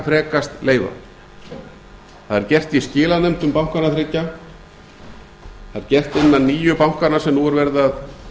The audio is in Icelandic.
frekast leyfa það er gert í skilanefndum bankanna þriggja það er gert innan nýju bankanna sem nú er verið að